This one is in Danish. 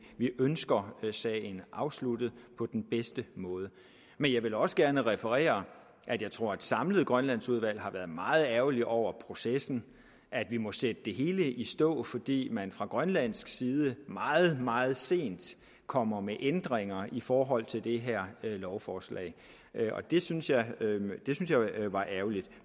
ønsker sagen afsluttet på den bedste måde men jeg vil også gerne referere at jeg tror at et samlet grønlandsudvalg har været meget ærgerlige over processen at vi må sætte det hele i stå fordi man fra grønlandsk side meget meget sent kommer med ændringer i forhold til det her lovforslag synes jeg var ærgerligt